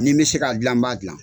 Ni n bɛ se ka dilan b'a dilan.